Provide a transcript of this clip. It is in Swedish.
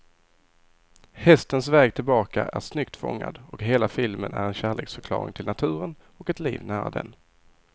Hästens väg tillbaka är snyggt fångad, och hela filmen är en kärleksförklaring till naturen och ett liv nära den.